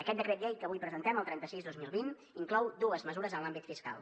aquest decret llei que avui presentem el trenta sis dos mil vint inclou dues mesures en l’àmbit fiscal